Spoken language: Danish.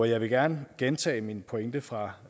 jeg vil gerne gentage min pointe fra